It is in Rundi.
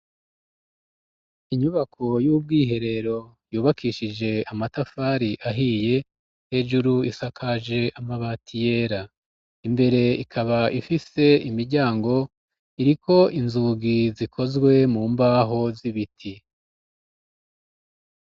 Inyubako y'ubwiherero yubakishije amatafari ahiye, hejuru isakaje amabati yera, imbere ikaba ifise imiryango, iriko inzugi zikozwe mu mbaho z'ibiti.